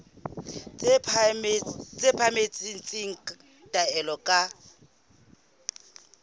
tse phahameng tsa taolo ka